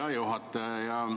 Hea juhataja!